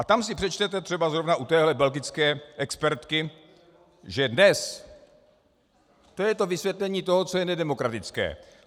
A tam si přečtete třeba zrovna u téhle belgické expertky, že dnes - to je to vysvětlení toho, co je nedemokratické.